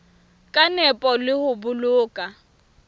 ka nepo le ho boloka